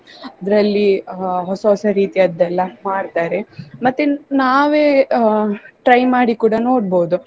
ಅದರಲ್ಲಿ ಅಹ್ ಹೊಸ ಹೊಸ ರೀತಿಯದ್ದೆಲ್ಲ ಮಾಡ್ತಾರೆ ಮತ್ತೆ ನಾವೇ ಅಹ್ try ಮಾಡಿ ಕೂಡ ನೋಡ್ಬೋದು.